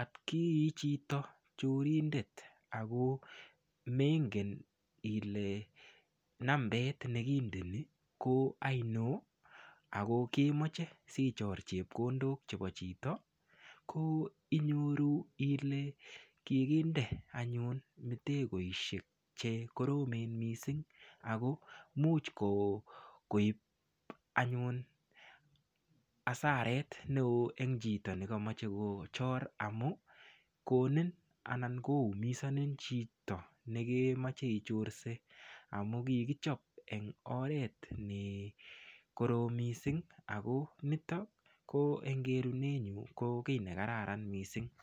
atkichito chorindet mengen ile nambet nekindei ko ainon ako kemoche sichor chepkondok chebo chito ko inyoru ile kikinde anyun mtegoisiek chekoromen missing' ko much koib anyun hasarait neoo en chito nekomoche kochor amun konin anan koumisonin chito nekemoche ichorse amu kikichop en oret nekorom missing' ako niton ko en kerunet nyun ko kit nekararan missing'.